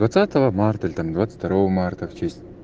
двадцатого марта или там двадцать второго марта в честь